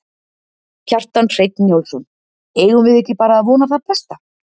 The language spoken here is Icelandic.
Kjartan Hreinn Njálsson: Eigum við ekki bara að vona það besta?